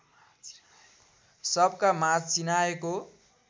सबका माझ चिनाएको